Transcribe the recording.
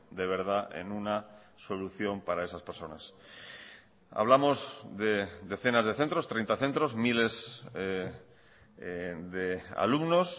de verdad en una solución para esas personas hablamos de decenas de centros treinta centros miles de alumnos